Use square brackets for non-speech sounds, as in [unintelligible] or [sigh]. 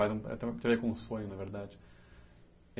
[unintelligible] veio com um sonho, na verdade.